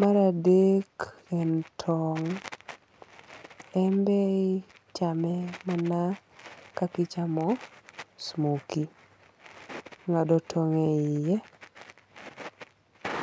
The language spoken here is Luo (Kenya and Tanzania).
Mar adek, en tong'. En be ichame mana kaka ichamo smokie. Ing'ado tong' e yie.